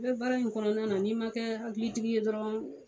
I bɛ baara in kɔnɔna na n'i ma kɛ hakilitigi ye dɔrɔn.